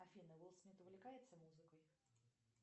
афина уилл смит увлекается музыкой